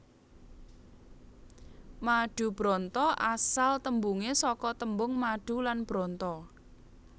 Madubranta asal tembunge saka tembung madu lan branta